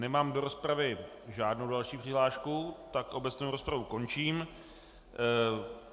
Nemám do rozpravy žádnou další přihlášku, tak obecnou rozpravu končím.